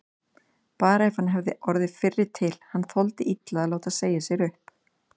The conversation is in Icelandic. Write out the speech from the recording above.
Bara ef hann hefði orðið fyrri til, hann þoldi illa að láta segja sér upp.